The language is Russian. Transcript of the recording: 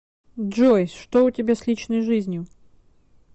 джой что у тебя с личной жизнью